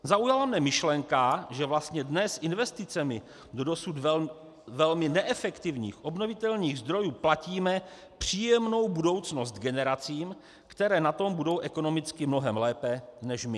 Zaujala mě myšlenka, že vlastně dnes investicemi do dosud velmi neefektivních obnovitelných zdrojů platíme příjemnou budoucnost generacím, které na tom budou ekonomicky mnohem lépe než my.